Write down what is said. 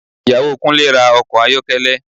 Ìyàwó Kúnlé ra ọkọ̀ ayọ́kẹ́lẹ́